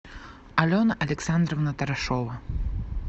алена александровна тарашова